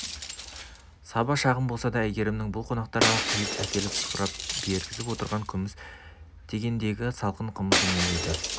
саба шағын болса да әйгерімнің бұл қонақтарға құйып әкеліп сапыртып бергізіп отырған күміс тегенедегі салқын қымызы мол еді